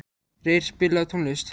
Reyr, spilaðu tónlist.